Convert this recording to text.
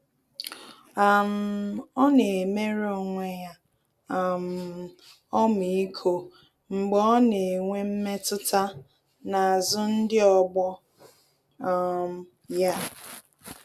um Ọ́ nà-éméré onwe ya um ọmịiko mgbe ọ́ nà-ènwé mmetụta n’ázụ́ ndị ọgbọ um ya.